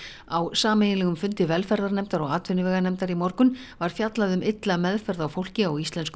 á sameiginlegum fundi velferðarnefndar og atvinnuveganefndar í morgun var fjallað um illa meðferð á fólki á íslenskum